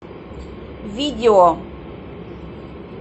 видео